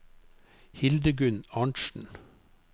Hildegunn Arntsen